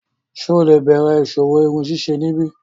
Ṣe o le bẹrẹ iṣowo irunsise nibi?